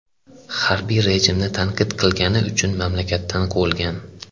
Harbiy rejimni tanqid qilgani uchun mamlakatdan quvilgan.